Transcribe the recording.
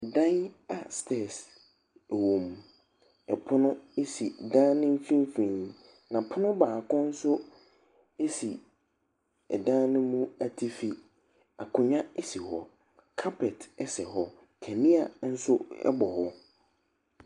Dan a stairs wɔ mu. Pono si dan no mfimfini, na pono baako nso si ɛdan no mu atifi. Akonnwa si kɔ. Carpet sɛ hɔ. Kaneanso bɔ hɔ.